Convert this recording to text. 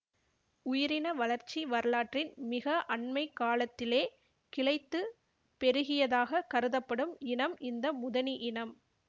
உயிரின வளர்ச்சி வரலாற்றின் மிக அண்மை காலத்திலே கிளைத்துப் பெருகியதாக கருதப்படும் இனம் இந்த முதனி இனம்